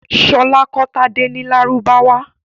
Ṣọlá kọ́ Tádé ní Lárúbáwá.